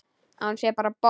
Að hún sé bara bomm!